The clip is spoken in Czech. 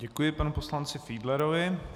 Děkuji panu poslanci Fiedlerovi.